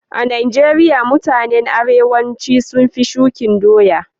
A'Nijeria mutanen arewanci sun fi shukin doya.